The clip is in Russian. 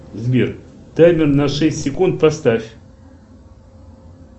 сбер таймер на шесть секунд поставь